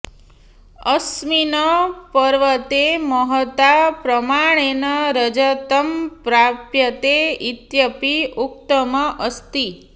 अस्मिन् पर्वते महता प्रमाणेन रजतं प्राप्यते इत्यपि उक्तम् अस्ति